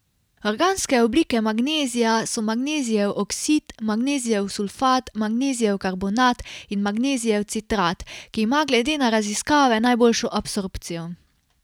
Organske oblike magnezija so magnezijev oksid, magnezijev sulfat, magnezijev karbonat in magnezijev citrat, ki ima glede na raziskave najboljšo absorpcijo.